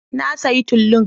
Na sayi tulun